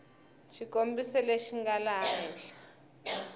xikombiso lexi nga laha henhla